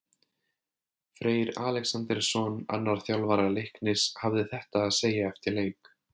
Freyr Alexandersson, annar þjálfara Leiknis, hafði þetta að segja eftir leik: